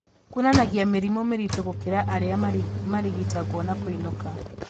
Kuonanagia mĩrimũ mĩritũ gũkĩra arĩa marigitagwo na kũinũka